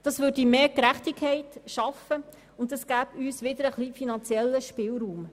Dies würde mehr Gerechtigkeit schaffen, und es gäbe uns wieder einen kleinen finanziellen Spielraum.